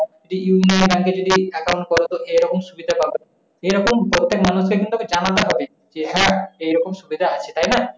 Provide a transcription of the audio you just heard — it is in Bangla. এই union bank এ যদি account কর তো এই রকম সুবিধা পাবা, এইরকম প্রত্যেকটা মানুষকে কিন্তু জানাতে হবে। যে হ্যাঁ, এরকম সুবিধা আছে তাই না?